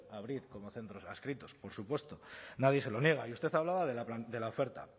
abrir como centros adscritos por supuesto nadie lo niega y usted hablaba de la oferta